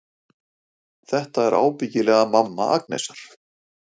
Þetta er ábyggilega mamma Agnesar.